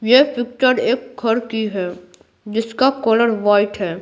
ये पिक्चर एक घर की है जिसका कलर वाइट है।